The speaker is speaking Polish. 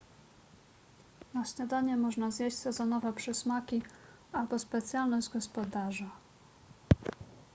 na śniadanie można zjeść sezonowe przysmaki albo specjalność gospodarza